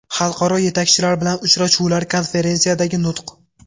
Xalqaro yetakchilar bilan uchrashuvlar, konferensiyadagi nutq.